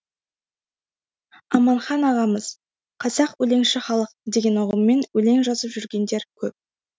аманхан ағамыз қазақ өлеңші халық деген ұғыммен өлең жазып жүргендер көп